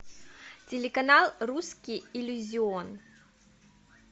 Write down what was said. телеканал русский иллюзион